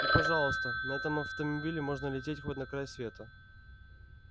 и пожалуйста на этом автомобиле можно лететь хоть на край света